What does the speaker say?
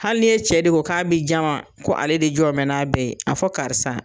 Hali n'e cɛ de ko ka be jama, ko ale de jɔ mɛn n'a bɛɛ ye, a fɔ karisa